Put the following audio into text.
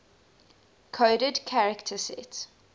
coded character set